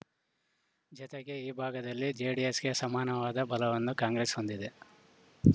ಜತೆಗೆ ಈ ಭಾಗದಲ್ಲಿ ಜೆಡಿಎಸ್‌ಗೆ ಸಮಾನವಾದ ಬಲವನ್ನು ಕಾಂಗ್ರೆಸ್‌ ಹೊಂದಿದೆ